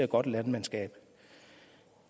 godt landmandskab